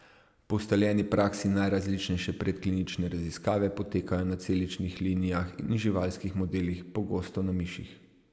Po ustaljeni praksi najrazličnejše predklinične raziskave potekajo na celičnih linijah in živalskih modelih, pogosto na miših.